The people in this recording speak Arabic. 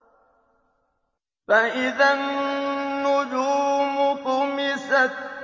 فَإِذَا النُّجُومُ طُمِسَتْ